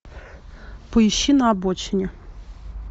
поищи на обочине